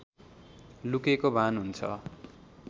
लुकेको भान हुन्छ